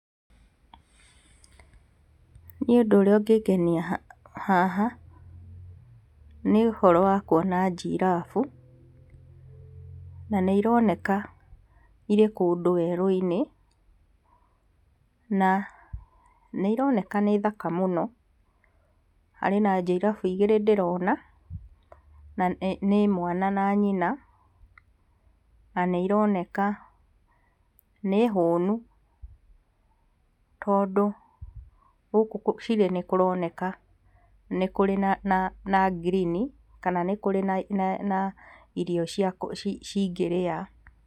Nĩi ũndũ ũrĩa ũngĩngenia haha, nĩ ũhoro wa kuona Girraffe na nĩ ironeka irĩ kũndũ werũinĩ, na nĩ ironeka nĩ thaka mũno. Harĩ na girraffe igĩrĩ ndĩrona, na nĩ mwana na nyina, na nĩ ironeka nĩ hũnu, tondũ gũkũ cirĩ nĩ kũroneka nĩ kũrĩ na, na, na ngirini, kana nĩ kũrĩ na, na irio cia ku cingĩrĩa.